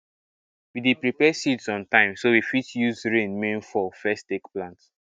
we dey prepare seeds on time so we fit use rain main fall first take plant